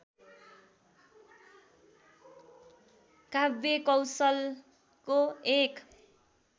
काव्यकौशलको एक